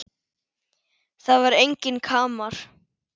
Það var enginn kamar.